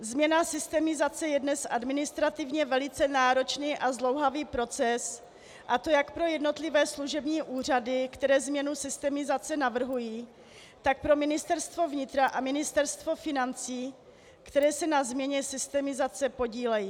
Změna systemizace je dnes administrativně velice náročný a zdlouhavý proces, a to jak pro jednotlivé služební úřady, které změnu systemizace navrhují, tak pro Ministerstvo vnitra a Ministerstvo financí, která se na změně systemizace podílejí.